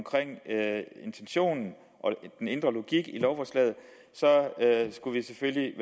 intentionen og den indre logik i lovforslaget skulle vi selvfølgelig